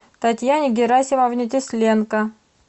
татьяне герасимовне тесленко